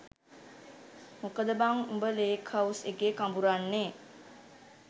මොකද බං උඹ ලේක් හවුස් එකේ කඹුරන්නෙ?